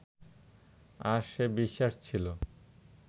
আর সে বিশ্বাস ছিল